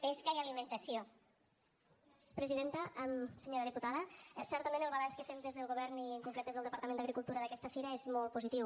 senyora diputada certament el balanç que fem des del govern i en concret des del departament d’agricultura d’aquesta fira és molt positiu